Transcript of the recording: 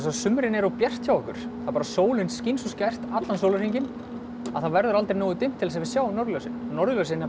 sumrin er of bjart hjá okkur sólin skín svo skært allan sólarhringinn að það verður aldrei nógu dimmt til þess að við sjáum norðurljósin norðurljósin